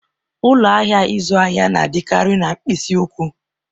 Ụlọ ahịa ịzụ ahịa na-adịkarị na mkpịsị ụkwụ